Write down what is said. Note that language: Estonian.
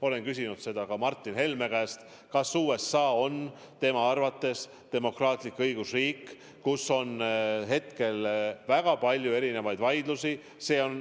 Olen küsinud ka Martin Helme käest, kas USA on tema arvates demokraatlik õigusriik, kuigi hetkel on seal väga palju erinevaid vaidlusi.